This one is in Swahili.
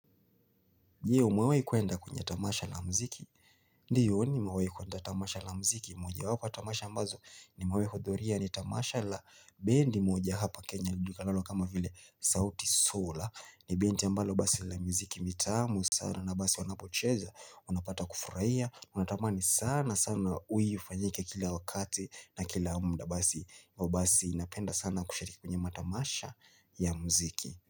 Ndio nimewahi kuenda kwenye tamasha la mziki. Ndiyo nimewahi kuenda tamasha la mziki. Mojawapo tamasha ambazo nimawahi kudhuria ni tamasha la bendi moja hapa Kenya. Lijukinalo kama vile sauti sol. Ni binti ambalo basi la mziki mitamu sana na basi wanapocheza. Unapata kufurahia. Unatamani sana sana ili ufanyike kila wakati na kila muda basi. Basi napenda sana kushiriki kwenye matamasha ya mziki.